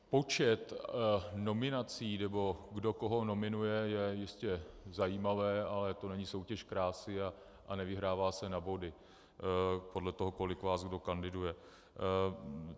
Počet nominací, nebo kdo koho nominuje, je jistě zajímavé, ale to není soutěž krásy a nevyhrává se na body podle toho, kolik vás kdo kandiduje.